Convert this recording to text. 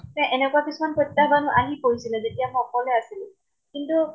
এনেকুৱা কিছুমান প্ৰত্য়াহবান আহি পৰিছিলে যেতিয়া সকলে আছিলো। কিন্তু